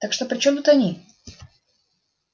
так что при чём тут они